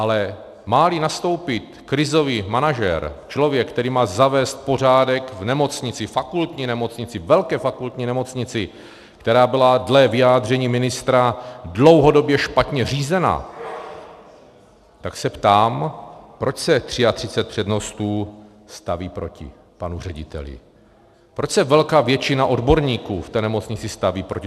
Ale má-li nastoupit krizový manažer, člověk, který má zavést pořádek v nemocnici, fakultní nemocnici, velké fakultní nemocnici, která byla dle vyjádření ministra dlouhodobě špatně řízena, tak se ptám, proč se 33 přednostů staví proti panu řediteli, proč se velká většina odborníků v té nemocnici staví proti.